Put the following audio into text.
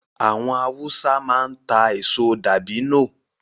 Àwọn Hausa máa ń ta èso dabino